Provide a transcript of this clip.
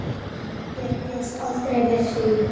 Ég bjóst aldrei við því.